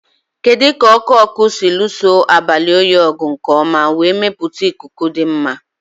Kedu ka ọkụ ọkụ si lụso abalị oyi ọgụ nke ọma wee mepụta ikuku dị mma?